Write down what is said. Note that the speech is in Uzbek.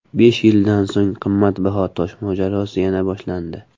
Besh yildan so‘ng qimmatbaho tosh mojarosi yana boshlandi.